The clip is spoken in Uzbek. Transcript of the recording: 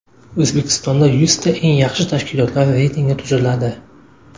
O‘zbekistonda yuzta eng yaxshi tashkilotlar reytingi tuziladi.